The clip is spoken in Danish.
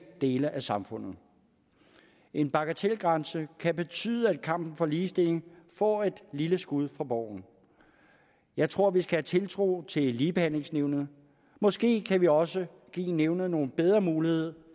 dele af samfundet en bagatelgrænse kan betyde at kampen for ligestilling får et lille skud for boven jeg tror vi skal have tiltro til ligebehandlingsnævnet måske kan vi også give nævnet nogle bedre muligheder